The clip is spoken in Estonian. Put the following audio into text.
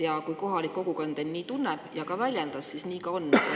Ja kui kohalik kogukond end nii tunneb ja nii väljendab, siis nii ka on.